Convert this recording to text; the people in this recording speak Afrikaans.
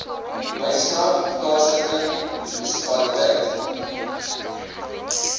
knysna plaaslike munisipaliteit